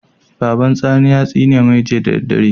Baban sani ya tsine mai Jiya da daddare